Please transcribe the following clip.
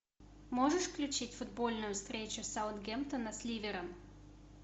можешь включить футбольную встречу саутгемптона с ливером